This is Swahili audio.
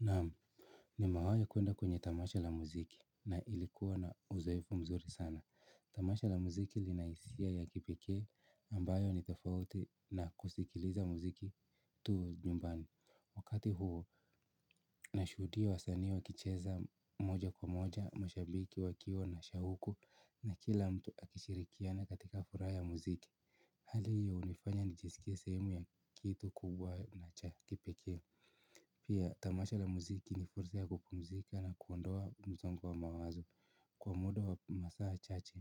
Naam. Nimewai kwenda kwenye tamasha la muziki, na ilikuwa na uzoefu mzuri sana. Tamasha la muziki linahisia ya kipekee ambayo ni tofauti na kusikiliza muziki tu nyumbani. Wakati huo nashudia wasanii wakicheza moja kwa moja, mashabiki wakiwa na shahuko na kila mtu akishirikiana katika furaha ya muziki. Hali hio unifanya nijisikie sehemu ya kitu kubwa na cha kipekee. Pia, tamasha la muziki ni fursa ya kupumzika na kuondoa msongo wa mawazo. Kwa muda wa masaa chache